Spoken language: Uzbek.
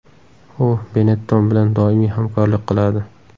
U Benetton bilan doimiy hamkorlik qiladi.